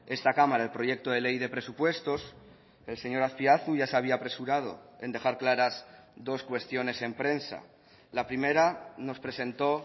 esta cámara el proyecto de ley de presupuestos el señor azpiazu ya se había apresurado en dejar claras dos cuestiones en prensa la primera nos presentó